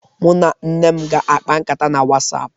Mu na nne m ga-akpa nkatá na whatsapp.